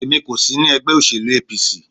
Èmi kò sí ní ẹgbẹ́ òsèlú APC.